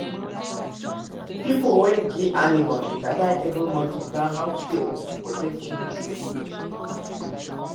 pipo wey get animal dey gather every month to plan how field go take change with season